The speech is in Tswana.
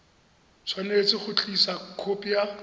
tshwanetse go tlisa khopi ya